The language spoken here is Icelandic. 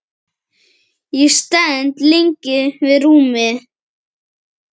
Ég stend lengi við rúmið.